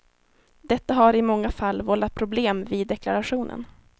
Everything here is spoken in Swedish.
Detta har i många fall vållat problem vid deklarationen.